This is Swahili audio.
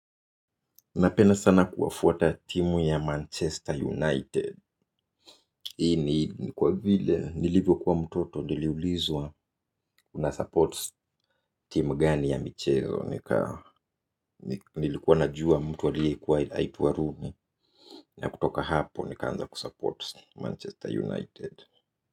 Ninapenda sana kuwafuata timu ya Manchester United. Hii ni kwa vile nilivyokuwa mtoto niliulizwa unasupport timu gani ya michezo. Nilikuwa ninajua mtu aliyekuwa anaitwa Rooney na kutoka hapo nikaanza kusupport Manchester United.